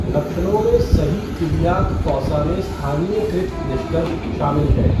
लक्षणों में सही इलियाक फ़ॉसा में स्थानीयकृत निष्कर्ष शामिल हैं।